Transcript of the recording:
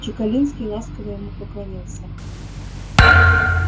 чекалинский ласково ему поклонился